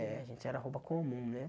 É, a gente era roupa comum, né?